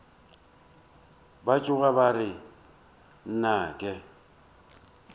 ba tšhoga ba re nnake